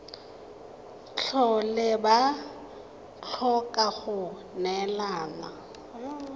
tlhole ba tlhoka go neelana